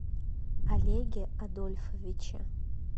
олеге адольфовиче